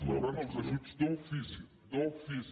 rebran els ajuts d’ofici d’ofici